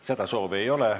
Seda soovi ei ole.